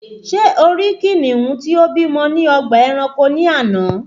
Ṣé o rí kìnìún tí ó bímọ ní ọgbà ẹranko ní àná?